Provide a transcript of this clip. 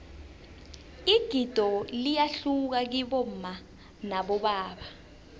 igido liyahluka kibomma nabobaba